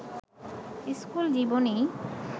school জীবনেই